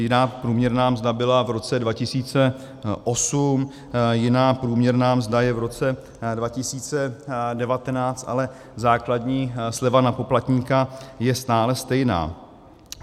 Jiná průměrná mzda byla v roce 2008, jiná průměrná mzda je v roce 2019, ale základní sleva na poplatníka je stále stejná.